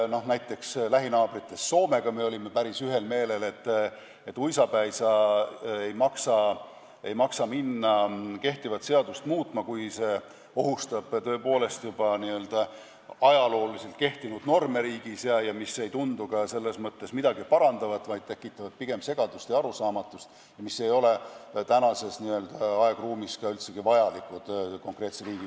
Näiteks lähinaabritest Soomega me olime päris ühel meelel, et uisapäisa ei maksa hakata kehtivat seadust muutma, kui see tõepoolest ohustab ajalooliselt kehtinud norme riigis ja kui see ei tundu üldse mitte midagi parandavat, vaid tekitaks pigem segadust ja arusaamatust, mis ei ole tänases aegruumis üldsegi vajalikud.